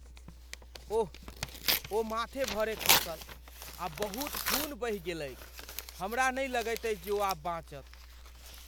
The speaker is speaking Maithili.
ओह, ओ माथे भरे खसल आ बहुत खून बहि गेलैक। हमरा नहि लगैत अछि जे ओ आब बाँचत।